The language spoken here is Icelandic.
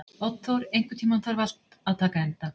Oddþór, einhvern tímann þarf allt að taka enda.